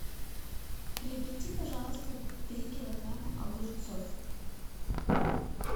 приобрети пожалуйста три килограмма огурцов